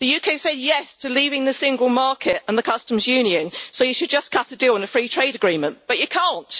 The UK said yes' to leaving the single market and the Customs Union, so you should just cut a deal on a free trade agreement. But you can't.